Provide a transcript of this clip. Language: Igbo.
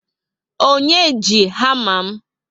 Onye ji hama m?